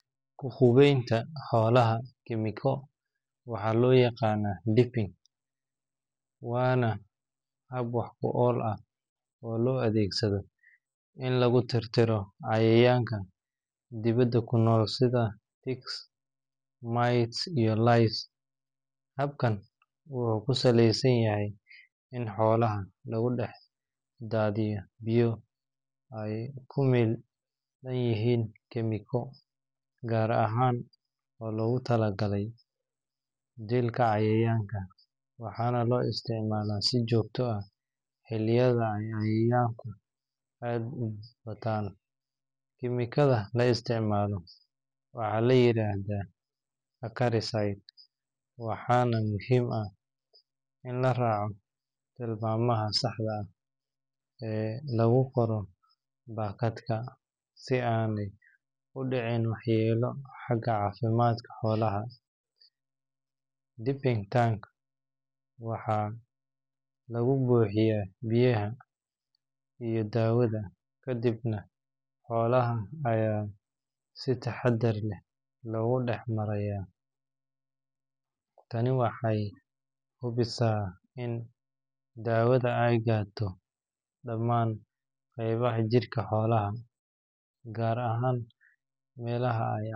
Hubenta xolahachemico waxaa lo yaqana [cs[ deep in, wana hab wax kuol ah oo lo adhegsadho in lagu tirtiro cayayanka dibaada kunol sitha pigs miles iyo lies habkan wuxuu ku saleysanyahay in xolaha lagu dax dadhiyo biyo ee ku melayihin kemiko gar ahan oo logu talagale dilka cayayanka, waxana lo isticmala si jogto ah, xiliyadha cayayanka aad u batan kimikatha laisticmalo waxaa layiradha charities in laraco lagu qoro bakadka ama ee u dicin waxyala xaga cafimaadka xolaha, Deeping tank waxaa laga buxiya biyaha iyo dawadha kadiib nah xolaha aya si taxadar leh logu dax mariyaa, tani wexee subisa in xolaha ee gaado qebaha xolaha jirka gar ahan melaha aya.